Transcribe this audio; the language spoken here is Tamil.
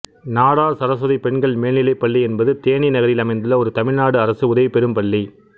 நாடார் சரசுவதி பெண்கள் மேல்நிலைப் பள்ளி என்பது தேனி நகரில் அமைந்துள்ள ஒரு தமிழ்நாடு அரசு உதவி பெறும் பள்ளி